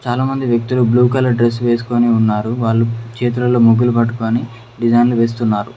చాలామంది వ్యక్తులు blue colour dress వేసుకొని ఉన్నారు వాళ్ళు చేతులలో మొగ్గులు పట్టుకొని డిజైన్లు వేస్తున్నారు.